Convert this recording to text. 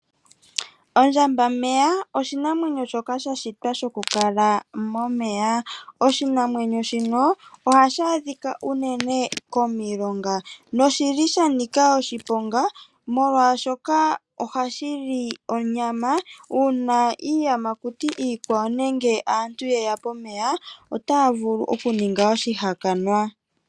Ondjambameya oshinamwenyo shoka sha shitwa shokukala momeya .Oshinamwenyo shino ohashi adhika unene komilonga noshili sha nika oshiponga molwaashoka ohashili onyama molwaashoka iiyamakuti iikwawo nenge aantu yeya pomeya otaya vulu oku ningwa oshihakanwa